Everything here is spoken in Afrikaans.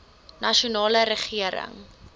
nasionale regering